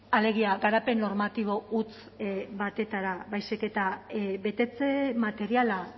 alegia garapen normatibo huts batera baizik eta betetze materiala